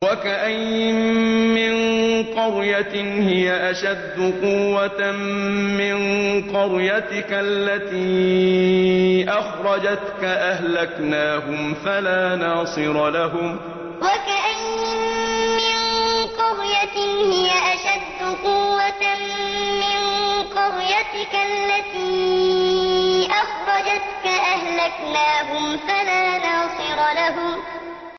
وَكَأَيِّن مِّن قَرْيَةٍ هِيَ أَشَدُّ قُوَّةً مِّن قَرْيَتِكَ الَّتِي أَخْرَجَتْكَ أَهْلَكْنَاهُمْ فَلَا نَاصِرَ لَهُمْ وَكَأَيِّن مِّن قَرْيَةٍ هِيَ أَشَدُّ قُوَّةً مِّن قَرْيَتِكَ الَّتِي أَخْرَجَتْكَ أَهْلَكْنَاهُمْ فَلَا نَاصِرَ لَهُمْ